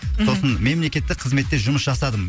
сосын мемлекеттік қызметте жұмыс жасадым